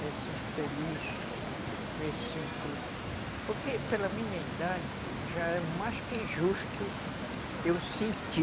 Me sinto feliz, me sinto... Porque pela minha idade já é mais que justo eu sentir